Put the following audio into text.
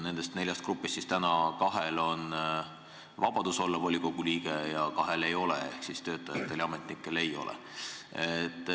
Nendest neljast grupist kahel on vabadus olla volikogu liige ja kahel ei ole ehk töötajatel ja ametnikel ei ole.